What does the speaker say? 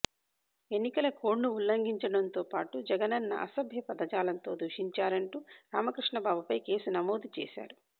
ఎన్నికల కోడ్ను ఉల్లంఘించడంతోపాటు జగన్ను అసభ్య పదజాలంతో దూషించారంటూ రామకృష్ణబాబుపై కేసు నమోదు చేశారు